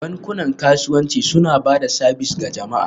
Bankunan kasuwanci suna ba da sabis ga jama'a